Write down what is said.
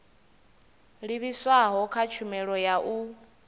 livhiswaho kha tshumelo ya u